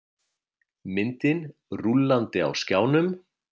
Myndin rúllandi á skjánum.